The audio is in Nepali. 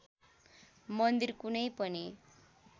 मन्दिर कुनै पनि